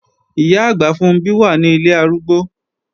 Ìyá-àgbà Funbí wà ní ilé arúgbó